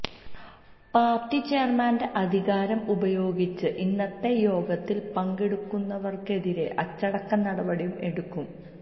party ചെയര്മാന്റെ അധികാരം ഉപയോഗിച്ച് ഇന്നത്തെ യോഗത്തില് പങ്കെടുക്കുന്നവര്ക്കെതിരെ അച്ചടക്ക നടപടിയും എടുക്കും